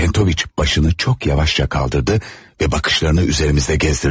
Çentoviç başını çox yavaşca qaldırdı və baxışlarını üzərimizdə gəzdirdi.